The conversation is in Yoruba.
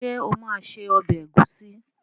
Ṣé ó máa se ọbẹ̀ ẹ̀gúsí.